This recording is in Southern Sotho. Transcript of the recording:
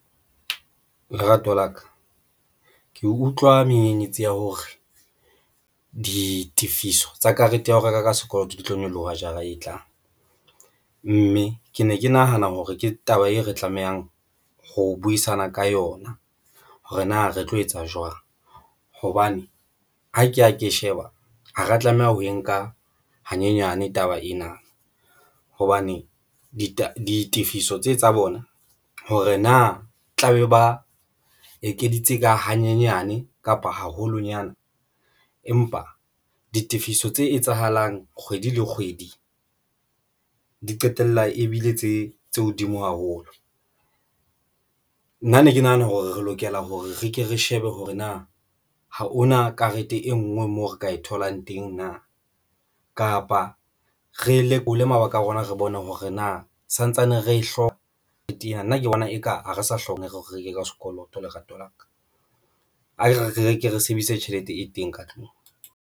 Lerato la ka ke utlwa menyenyetsi ya hore ditifiso tsa karete ya ho reka ka sekoloto di tlo nyoloha jara e tlang, mme ke ne ke nahana hore ke taba e re tlamehang ho buisana ka yona hore na re tlo etsa jwang hobane ha ke ya ke sheba ha ra tlameha ho e nka hanyenyane taba ena hobane ditefiso tse tsa bona, hore na tlabe ba ekeditse ka hanyenyane kapa haholonyana. Empa ditefiso tse etsahalang kgwedi le kgwedi di qetella ebile tse hodimo haholo. Nna ne ke nahana hore re lokela hore re ke re shebe hore na ha hona karete e nngwe moo re ka e tholang teng na. Kapa re lekole mabaka a rona, re bone hore na santsane re e hloka karate ena nna ke bona eka ha re sa hloka re reke ka sekoloto lerato la ka akere re reke re sebedise tjhelete e teng ka tlung.